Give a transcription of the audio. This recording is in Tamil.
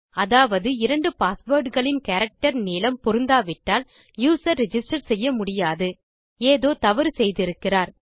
அதாவது இரண்டு பாஸ்வேர்ட் களின் கேரக்டர் நீளம் பொருந்தாவிட்டால் யூசர் ரிஜிஸ்டர் செய்ய முடியாது ஏதோ தவறு செய்திருக்கிறார்